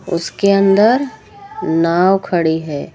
उसके अंदर नाव खड़ी है।